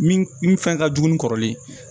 Min min fɛn ka jugu ni kɔrɔlen ye